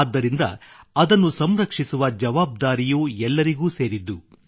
ಆದ್ದರಿಂದ ಅದನ್ನು ಸಂರಕ್ಷಿಸುವ ಜವಾಬ್ದಾರಿಯೂ ಎಲ್ಲರಿಗೂ ಸೇರಿದ್ದು